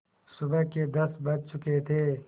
सुबह के दस बज चुके थे